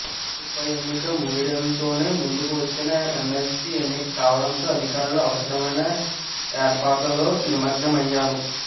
ఉప ఎన్నిక ముగియడంతోనే ముందుకు వచ్చిన ఎమ్మెల్సీ ఎన్నిక కావడంతో అధికారులు అవసరమైన ఏర్పాట్లలో నిమగ్నమయ్యారు